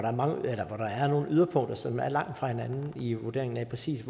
der er nogle yderpunkter som er langt fra hinanden i vurderingen af præcis